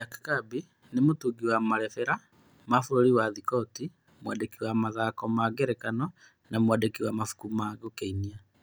Jaki Cabi nĩ mũtungi wa marebera wa bũrũri wa Thikoti, mwandĩki wa mathako ma ngerekano na mwandĩki wa mabũku ma gũĩkenia.